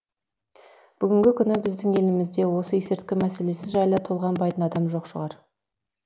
бүгінгі күні біздің елімізде осы есірткі мәселесі жайлы толғанбайтын адам жоқ шығар